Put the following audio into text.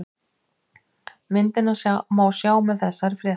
Myndina má sjá með þessari frétt